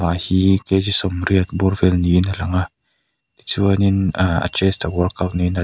ahii kg sawmriat bawr vel niin a lang a tichuanin a-a chest a uarkaut niin a la --